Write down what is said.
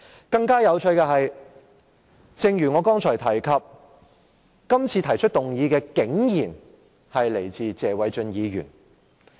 更有趣的一點是，正如我剛才提及，今次提出議案的竟然是謝偉俊議員。